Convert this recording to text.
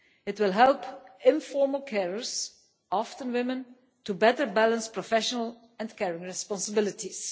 It will help informal carers, often women, to better balance professional and care responsibilities.